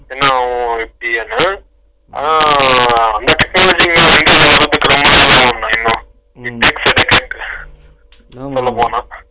என்னா அண்ணே, ஆனா அந்த technology இன்னும் இந்திய வரதுக்கு ரொம்ப நாள் ஆகும்ண்ணா அநேகமா, நீங்க பேசினத கேட்டு, இன்னும் சொல்லபோனா.